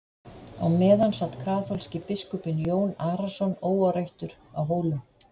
á meðan sat kaþólski biskupinn jón arason óáreittur á hólum